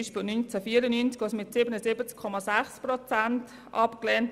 Beispielsweise wurde das Anliegen 1994 mit 77,6 Prozent abgelehnt.